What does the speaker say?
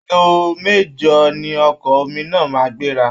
Aago mẹ̀jọ ni ọkọ̀ omi náà máa ń gbéra